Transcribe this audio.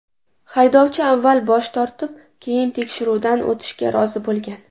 Haydovchi avval bosh tortib, keyin tekshiruvdan o‘tishga rozi bo‘lgan.